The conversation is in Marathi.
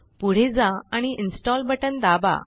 पुढे जा आणि इन्स्टॉल बटन दाबा